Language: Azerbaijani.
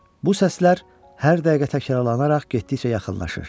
Bu səslər hər dəqiqə təkrarlanaraq getdikcə yaxınlaşır.